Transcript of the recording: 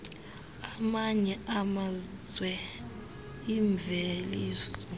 amanye amazwe imveliso